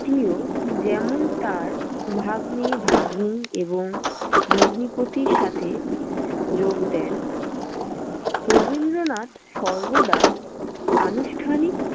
ত্মীয় যেমন তাঁর ভাগ্নে, ভাগ্নী এবং ভগ্নিপতির সাথে যোগ দেন, রবীন্দ্রনাথ সর্বদা আনুষ্ঠানিক।